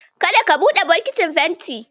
Kada ka buɗe bokitin fentin.